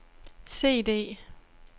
CD